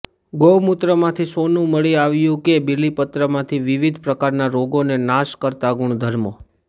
ગૌમૂત્રમાંથી સોનુ મળી આવ્યું કે બીલીપત્રમાંથી વિવિધ પ્રકારના રોગોને નાશ કરતા ગુણધર્મો